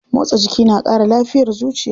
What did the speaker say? Motsa jiki na kara lafiyar zuciya.